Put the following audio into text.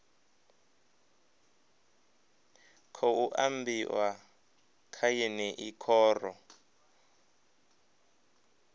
khou ambiwa kha yeneyi khoro